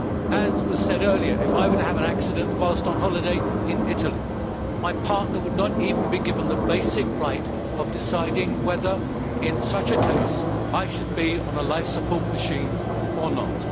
As was said earlier, if I were to have an accident whilst on holiday in Italy, my partner would not even be given the basic right to decide whether, in such a case, I should be on a life support machine or not.